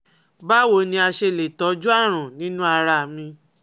Bawo ni a ṣe le tọju arun ninu ara mi?